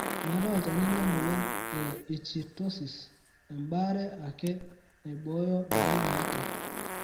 Meetai Olchani le moyian e ichtyosis, embaare ake naibooyo dalili eetai.